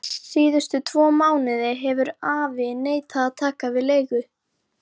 Síðustu tvo mánuði hefur afi neitað að taka við leigu.